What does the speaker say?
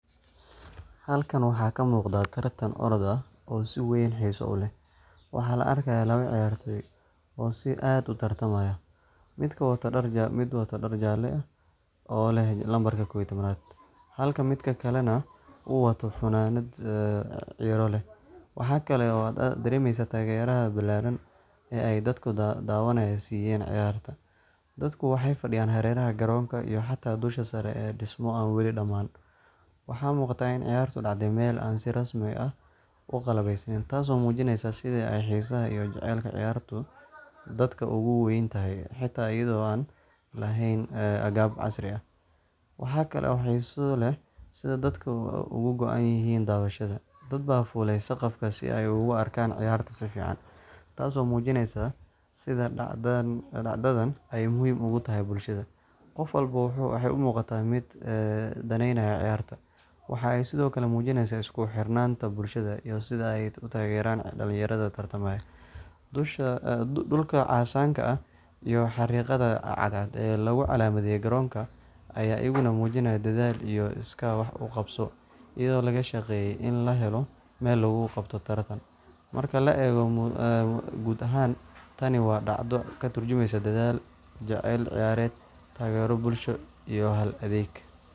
Halkan waxa kamugda tartan orad ah, oo si wen xisa uleh, waxan laarkaya lawa ciyartoy oo si aad utartamayo, mid wato dar jalo ah, o leh nambarka kow iyo tawanad, xalka midkakale nah uwato funanat , waxa kale ad daremeysa tageraxa bilaran im ay dadku dawanayo ciyarta, dadku waxay fadiyan xareraxa garonka iyo dusha sare ee dismaha daman, waxa mugdan ciyarta kadacde mel si rasmi ah uqalabesnen taas oo mujineysa sidha ay xisaa leh jacelka viyartu, dadka uguwentaxay, waxa taxay iyado an laxayn aqab casri ah, waxa kae oo xisa leh sidha dadku uguanyixin dawashada, dadba fulay saqaf si gofkasta oguarka ciyarta si fican, taaso oo mujineysa sidha dactadan ay muxiim ogutaxay bulshada, gofwalbo wuxu umugata mid ee daneynayo ciyarta, waxay sidhokale mujineysa iskuxirnanta bulshada, iyo sidha ay utaqeran dalinyarada tartamayo, dulka casanka ah iyo xarigada cad cad, lawo lagucalamiye garonka aya uyugan mujinaya dadhalka iyo iska wax ugabso, iyado lagashageye in laxelo mel lagugabto taratan, marka laego gud axan, taan wa dacdo katurjumeysa dadhal, jacel ciyared, tagero bulsho, iyo aad adeg.